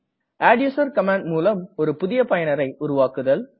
adduser command முலம் புதிய பயனரை உருவாக்குதல்